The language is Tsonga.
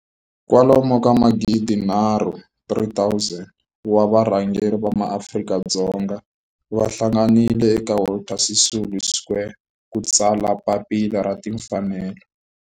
Kwalomu ka magidi nharhu, 3 000, wa varhangeri va maAfrika-Dzonga va hlanganile eka Walter Sisulu Square ku ta tsala Papila ra Timfanelo.